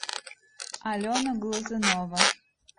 алена глазунова